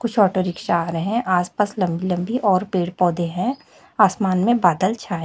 कुछ auto rickshaw आ रहे है आस पास लंबी लंबी और पेड़ पौधे है आसमान में बादल छाए--